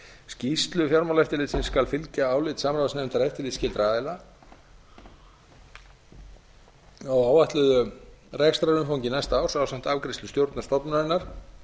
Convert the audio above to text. skýrslu fjármálaeftirlitsins skal fylgjaálit samráðsnefndar eftirlitsskyldra aðila af áætluðu rekstrarumfangi næsta árs ásamt afgreiðslu stjórnar stofnunarinnar